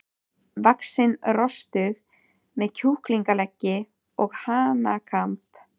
vaxinn rostung með kjúklingaleggi og hanakamb.